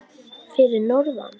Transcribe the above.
Fyrir norðan?